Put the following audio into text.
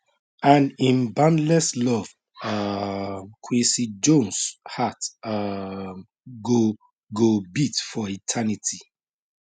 and im boundless love um quincy jones heart um go go beat for eternity